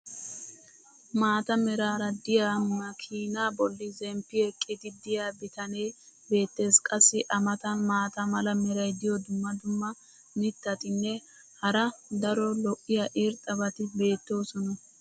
maata meraara diya makiinee boli zemppi eqqidi diya bitanee beetees. qassi a matan maata mala meray diyo dumma dumma mittatinne hara daro lo'iya irxxabati beettoosona.